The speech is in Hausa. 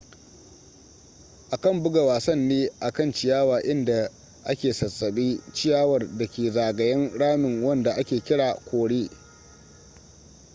akan buga wasan ne a kan ciyawa inda a ke sassabe ciyawar da ke zagayen ramin wanda a ke kira kore